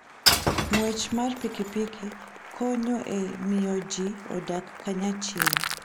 Ng'wech mar pikipiki konyo e miyo ji odag kanyachiel.